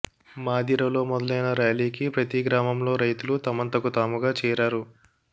మాధిరలో మొదలైన ర్యాలీకి ప్రతి గ్రామంలో రైతులు తమంతకు తాముగా చేరారు